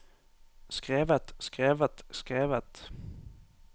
skrevet skrevet skrevet